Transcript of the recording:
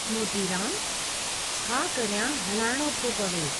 मोतीरामुः छा करियां हलाइणो थो पवे।